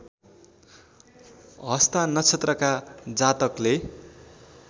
हस्ता नक्षत्रका जातकले